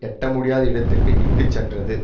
எட்ட முடியாத இடத்தறிற்க்கு இட்டு சென்றது